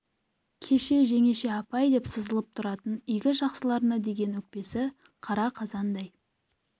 кеше жеңеше апай деп сызылып тұратын игі жақсыларына деген өкпесі қара қазандай